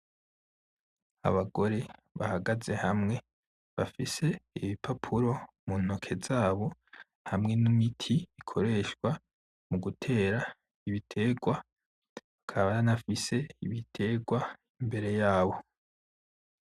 Abagore bahagaze hamwe bafise ibipapuro mu ntoke zabo hamwe n’imiti ikoreshwa mugutera ibiterwa, bakaba banafise ibiterwa imbere yabo.